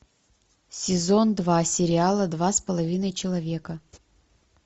сезон два сериала два с половиной человека